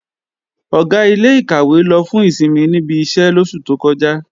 Ọ̀gá ilé-ìkàwé lọ fún ìsinmi níbi iṣẹ́ lóṣù tó kọjá